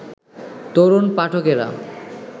তরুণ পাঠকেরা